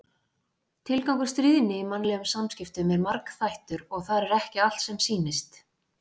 Tilgangur stríðni í mannlegum samskiptum er margþættur og þar er ekki allt sem sýnist.